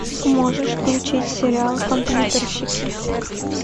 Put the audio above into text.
можешь включить сериал компьютерщики